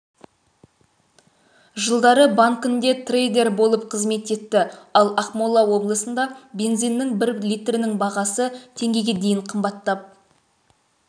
жылдары банкінде трейдер болып қызмет етті ал ақмола облысында бензиннің бір литрінің бағасы теңгеге дейін қымбаттап